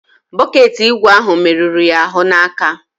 Bọket ígwè ahụ merụrụ ya ahụ n'aka.